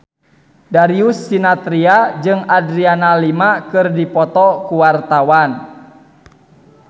Darius Sinathrya jeung Adriana Lima keur dipoto ku wartawan